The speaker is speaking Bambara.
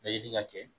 Bɛɛ ɲini ka kɛ